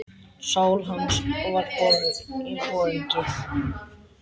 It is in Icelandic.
Sál hans var borgið.